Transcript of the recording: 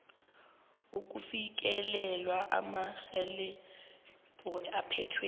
ukufikelela emarekhodini aphethwe